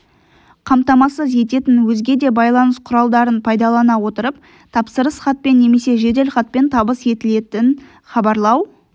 қамтамасыз ететін өзге де байланыс құралдарын пайдалана отырып тапсырыс хатпен немесе жеделхатпен табыс етілетін хабарлау